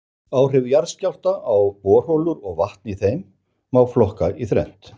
Áhrif jarðskjálfta á borholur og vatn í þeim má flokka í þrennt.